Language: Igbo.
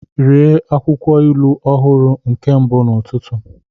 Rie akwụkwọ ilu ọhụrụ nke mbụ n'ụtụtụ!